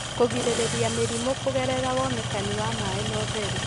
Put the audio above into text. kũgirĩrĩria mĩrimũ kũgerera wonekani wa maĩ na ũtheru,